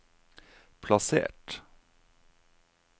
plassert